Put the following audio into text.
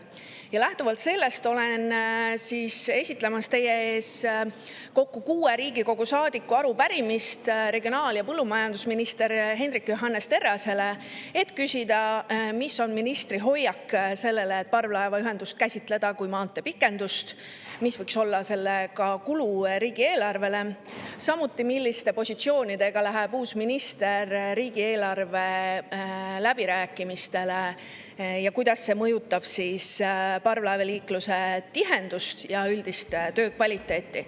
Ja lähtuvalt sellest olen esitlemas teie ees kokku kuue Riigikogu saadiku arupärimist regionaal- ja põllumajandusminister Hendrik Johannes Terrasele, et küsida, mis on ministri hoiak selle suhtes, et parvlaevaühendust käsitleda kui maanteepikendust, mis võiks olla selle kulu riigieelarvele, milliste positsioonidega läheb uus minister riigieelarve läbirääkimistele ja kuidas see mõjutab parvlaevaliikluse tihedust ja üldist töökvaliteeti.